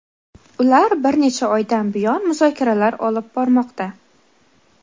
Ular bir necha oydan buyon muzokaralar olib bormoqda.